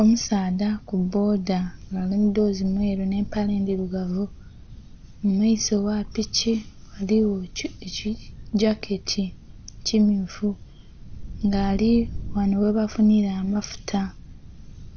Omusadha kuboda nga ari mumudhoozi mweru ne'mpale ndirugavu, mumayiso gha piki ghaliwo ekijaket kimyuufu nga ari ghano ghebafunila amafuta